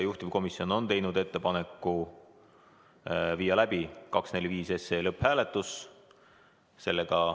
Juhtivkomisjon on teinud ettepaneku viia läbi 245 SE lõpphääletus.